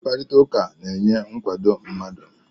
Mkparịta ụka na-enye nkwado mmadụ